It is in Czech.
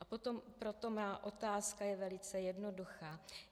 A proto má otázka je velice jednoduchá.